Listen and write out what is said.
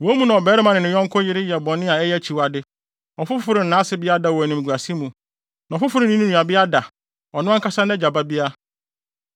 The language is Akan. Wo mu na ɔbarima ne ne yɔnko yere yɛ bɔne a ɛyɛ akyiwade, ɔfoforo ne nʼasebea da wɔ animguase mu, na ɔfoforo ne ne nuabea da, ɔno ankasa nʼagya babea.